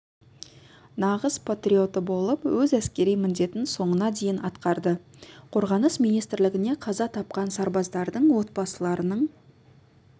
нағыз патриоты болып өз әскери міндетін соңына дейін атқарды қорғаныс министрлігіне қаза тапқан сарбаздардың отбасыларының